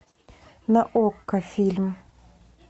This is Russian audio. на окко фильм